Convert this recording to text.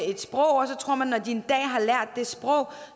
når de en dag har lært det sprog